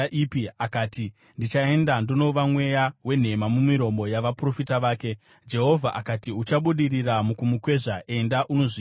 “Akati, ‘Ndichaenda ndonova mweya wenhema mumiromo yavaprofita vake.’ “Jehovha akati, ‘Uchabudirira mukumukwezva. Enda unozviita.’